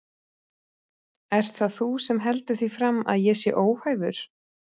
Ert það þú sem heldur því fram að ég sé óhæfur?